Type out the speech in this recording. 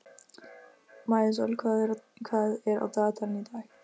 Maísól, hvað er á dagatalinu í dag?